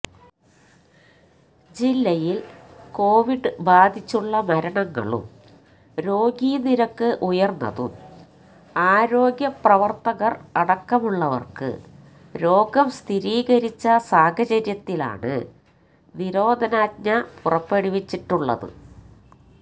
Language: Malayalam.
ജില്ലയില് കൊവിഡ് ബാധിച്ചുള്ള മരണങ്ങളും രോഗീ നിരക്ക് ഉയര്ന്നതും ആരോഗ്യ പ്രവര്ത്തകര് അടക്കമുള്ളവര്ക്ക് രോഗം സ്ഥിരീകരിച്ച സാഹചര്യത്തിലാണ് നിരോധനാജ്ഞ പുറപ്പെടുവിച്ചിട്ടുള്ളത്